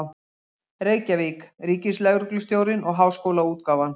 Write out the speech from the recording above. Reykjavík: Ríkislögreglustjórinn og Háskólaútgáfan.